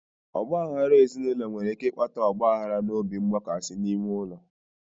Ọgba aghara ezinụlọ nwere ike ịkpata ọgba aghara na obi mgbakasị n'ime ụlọ